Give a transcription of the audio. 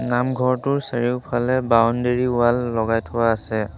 নামঘৰটোৰ চাৰিওফালে boundary wall লগাই থোৱা আছে।